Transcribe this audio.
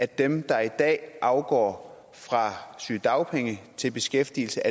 dem der i dag overgår fra sygedagpenge til beskæftigelse